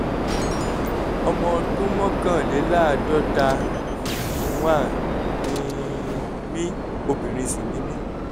ọmọ ọdún mọ́kànléláàádọ́ta fifty one ni mí obìnrin sì ni mí